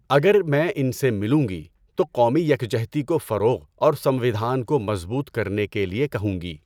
اگر میں ان سے ملوں گی تو قومی یکجہتی کو فروغ اور سموِدھان کو مضبوط کرنے کے لیے کہوں گی۔